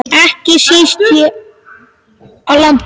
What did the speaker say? Ekki síst hér á landi.